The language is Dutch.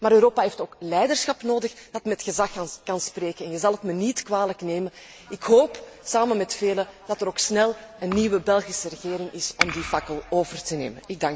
Maar Europa heeft ook leiderschap nodig dat met gezag kan spreken en je zal het me niet kwalijk nemen ik hoop, samen met velen, dat er ook snel een nieuwe Belgische regering is om die fakkel over te nemen.